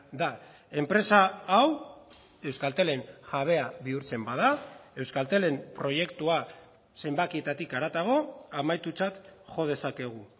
da enpresa hau euskaltelen jabea bihurtzen bada euskaltelen proiektua zenbakietatik haratago amaitutzat jo dezakegu